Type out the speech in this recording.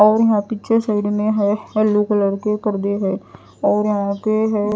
और यहां पीछे साइड में है येलो कलर के पर्दे हैं और यहां पे है।